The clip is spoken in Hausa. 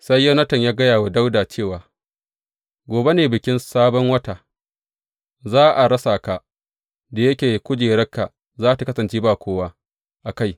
Sai Yonatan ya gaya wa Dawuda cewa, Gobe ne Bikin Sabon Wata, za a rasa ka, da yake kujerarka za tă kasance ba kowa a kai.